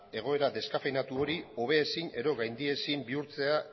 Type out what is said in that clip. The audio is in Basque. egoera deskafeinatu hori hobezin edo gaindiezin bihurtzea